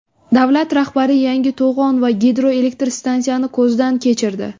Davlat rahbari yangi to‘g‘on va gidroelektr stansiyani ko‘zdan kechirdi.